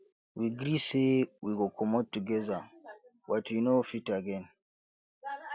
we gree say we go comot together but we no fit again